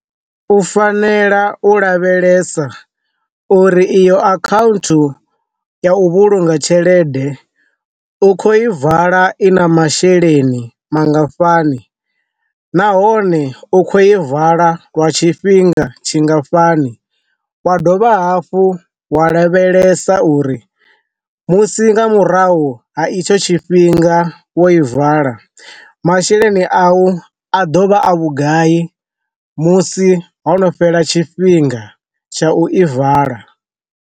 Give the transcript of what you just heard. U fanela u lavhelesa uri iyo akhaunthu ya u vhulunga tshelede u kho i vala i na masheleni mangafhani, nahone u kho i vala wa tshifhinga tshingafhani, wa dovha hafhu wa lavhelesa uri musi nga murahu ha itsho tshifhinga wo i vala masheleni a u a dovha a vhugai musi ho no fhela tshifhinga tsha u i vala.